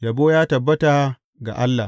Yabo ya tabbata ga Allah!